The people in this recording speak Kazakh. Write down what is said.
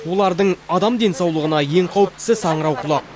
олардың адам денсаулығына ең қауіптісі саңырауқұлақ